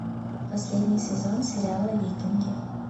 последний сезон сериала викинги